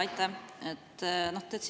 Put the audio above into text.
Aitäh!